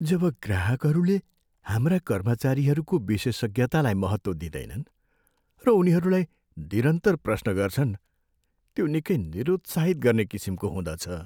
जब ग्राहकहरूले हाम्रा कर्मचारीहरूको विशेषज्ञतालाई महत्त्व दिँदैनन् र उनीहरूलाई निरन्तर प्रश्न गर्छन्, त्यो निकै निरुत्साहित गर्ने किसिमको हुँदछ।